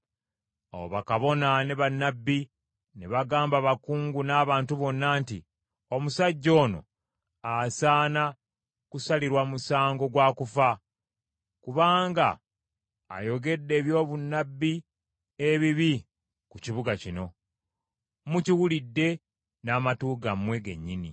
Awo bakabona ne bannabbi ne bagamba abakungu n’abantu bonna nti, “Omusajja ono asaana kusalirwa musango gwa kufa kubanga ayogedde ebyobunnabbi ebibi ku kibuga kino. Mukiwulidde n’amatu gammwe gennyini.”